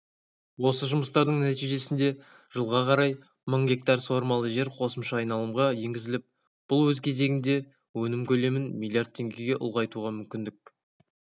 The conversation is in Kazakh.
осы жұмыстардың нәтижесінде жылға қарай мың гектар суармалы жер қосымша айналымға енгізіліп бұл өз кезегінде өнім көлемін млрд теңгеге ұлғайтуға мүмкіндік